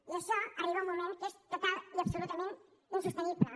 i això arriba un moment que és totalment i absolutament insostenible